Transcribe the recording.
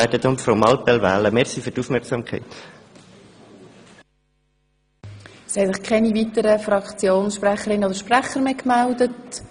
Es haben sich keine weiteren Fraktionssprecherinnen oder -sprecher gemeldet.